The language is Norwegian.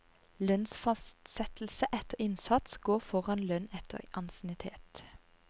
Lønnsfastsettelse etter innsats går foran lønn etter ansiennitet.